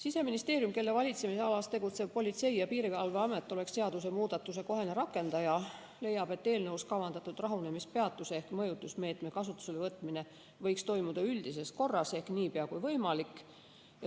Siseministeerium, kelle valitsemisalas tegutsev Politsei‑ ja Piirivalveamet oleks seadusemuudatuse kohene rakendaja, leiab, et eelnõus kavandatud rahunemispeatuse ehk mõjutusmeetme kasutusele võtmine võiks toimuda üldises korras ehk niipea kui võimalik.